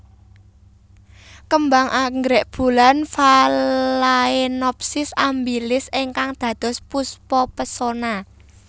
Kembang anggrek bulan Phalaenopsis amabilis ingkang dados Puspa Pesona